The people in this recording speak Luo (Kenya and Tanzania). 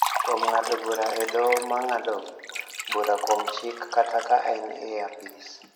kuom ng�ado bura e Doho ma ng�ado bura kuom chik kata ka en e apis.